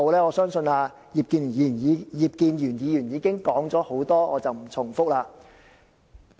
我相信葉建源議員已經提出了很多意見，我不重複了。